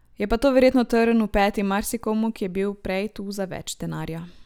Je pa to verjetno trn v peti marsikomu, ki je bil prej tu za več denarja.